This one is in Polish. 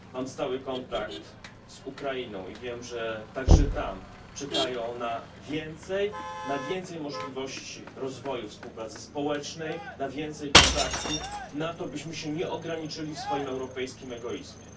Mam stały kontakt z Ukrainą i wiem, że także tam czekają na więcej na więcej możliwości rozwoju współpracy społecznej, na więcej kontaktów, na to, byśmy się nie ograniczyli w swoim europejskim egoizmie.